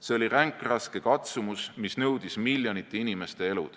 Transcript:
See oli ränkraske katsumus, mis nõudis miljonite inimeste elu.